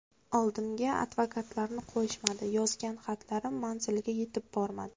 Oldimga advokatlarni qo‘yishmadi, yozgan xatlarim manziliga yetib bormadi.